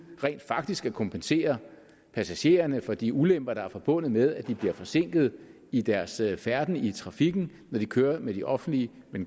rent faktisk at kompensere passagererne for de ulemper der er forbundet med at de bliver forsinket i deres færden i trafikken når de kører med den offentlige